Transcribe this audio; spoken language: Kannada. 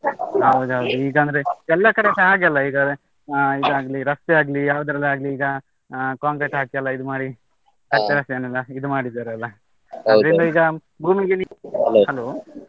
ಹೌದೌದು ಈಗಂದ್ರೆ ಎಲ್ಲಾ ಕಡೆಸ ಹಾಗೆ ಅಲ್ಲ ಈಗ, ಇದಾಗ್ಲಿ ರಸ್ತೆ ಆಗ್ಲಿ ಯಾವುದ್ರಲ್ಲಾಗ್ಲಿ ಈಗ, ಹ concrete ಹಾಕಿ ಎಲ್ಲ ಇದು ಮಾಡಿ , ಎಲ್ಲ ಇದು ಮಾಡಿದ್ದಾರಲ್ಲ, ಭೂಮಿಗೆ ನೀರು, .